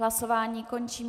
Hlasování končím.